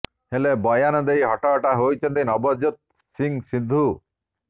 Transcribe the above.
ହେଲେ ବୟାନ ଦେଇ ହଟହଟା ହୋଇଛନ୍ତି ନବଜୋତ ସିଂହ ସିଦ୍ଧୁ